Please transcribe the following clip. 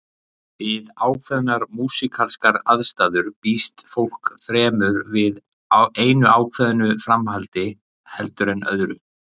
Við ákveðnar músíkalskar aðstæður býst fólk fremur við einu ákveðnu framhaldi heldur en öðru.